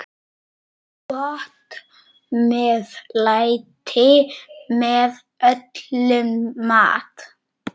Gott meðlæti með öllum mat.